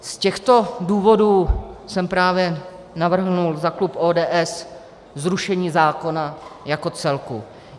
Z těchto důvodů jsem právě navrhl za klub ODS zrušení zákona jako celku.